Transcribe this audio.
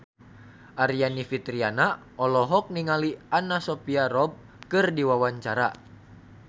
Aryani Fitriana olohok ningali Anna Sophia Robb keur diwawancara